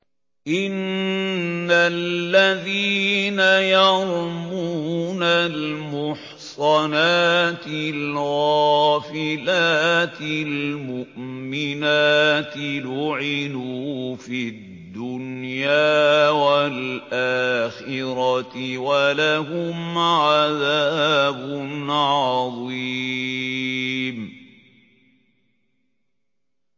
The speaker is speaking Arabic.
إِنَّ الَّذِينَ يَرْمُونَ الْمُحْصَنَاتِ الْغَافِلَاتِ الْمُؤْمِنَاتِ لُعِنُوا فِي الدُّنْيَا وَالْآخِرَةِ وَلَهُمْ عَذَابٌ عَظِيمٌ